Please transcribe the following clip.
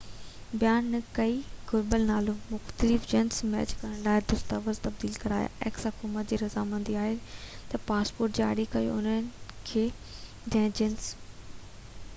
حڪومت جي رضامندي آهي تہ پاسپورٽ جاري ڪيو انهن کي جنهن جنس x بيان نہ ڪئي يا گهربل نالو ۽ مختلف جنس ميچ ڪرڻ لاءِ دستاويز تبديل ڪرايا